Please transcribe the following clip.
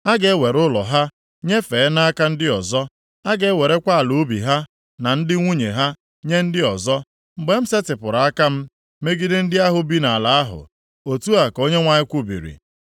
A ga-ewere ụlọ ha nyefee nʼaka ndị ọzọ. A ga-ewerekwa ala ubi ha na ndị nwunye ha nye ndị ọzọ, + 6:12 Ee, ihe ndị a ga-emezumgbe m setịpụrụ aka m megide ndị ahụ bi nʼala ahụ.” Otu a ka Onyenwe anyị kwubiri.